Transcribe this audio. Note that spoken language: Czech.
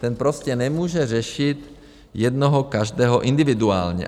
Ten prostě nemůže řešit jednoho každého individuálně.